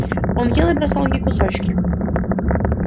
он ел и бросал ей кусочки